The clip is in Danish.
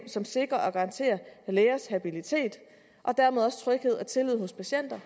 som sikrer og garanterer lægers habilitet og dermed også tryghed og tillid hos patienterne